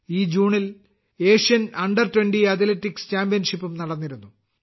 ഈ ജൂണിൽ Asian under twenty athletics ചാമ്പ്യൻഷിപ്പും നടന്നിരുന്നു